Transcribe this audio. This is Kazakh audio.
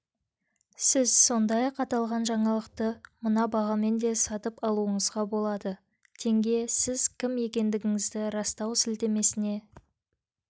сіз сондай-ақ аталған жаңалықты мына бағамен де сатып алуыңызға болады тенге сіз кім екендігіңізді растау сілтемесіне